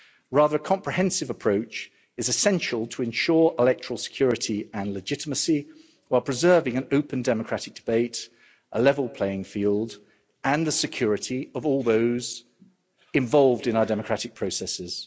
Rather, a comprehensive approach is essential to ensure electoral security and legitimacy, while preserving an open democratic debate, a level playing field and the security of all those involved in our democratic processes.